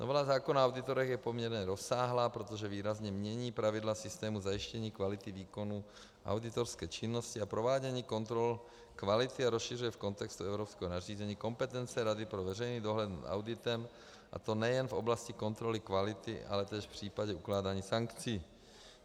Novela zákona o auditorech je poměrně rozsáhlá, protože výrazně mění pravidla systému zajištění kvality výkonu auditorské činnosti a provádění kontrol kvality a rozšiřuje v kontextu evropského nařízení kompetence Rady pro veřejný dohled nad auditem, a to nejen v oblasti kontroly kvality, ale též v případě ukládání sankcí.